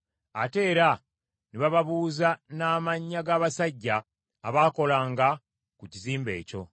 Ate era ne bababuuza n’amannya g’abasajja abaakolanga ku kizimbe ekyo.